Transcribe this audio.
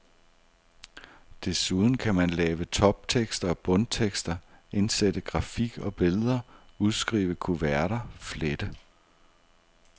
Desuden kan man lave toptekster og bundtekster, indsætte grafik og billeder, udskrive kuverter, flette.